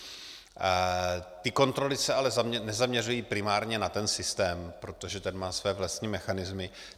Ty kontroly se ale nezaměřují primárně na ten systém, protože ten má své vlastní mechanismy.